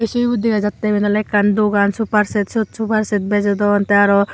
ubot dagajatay ebane olay ekan dogan sopar set swot sopa set bajodon tahh aro.